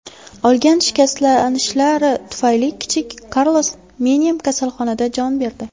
Olgan shikastlanishlari tufayli kichik Karlos Menem kasalxonada jon berdi.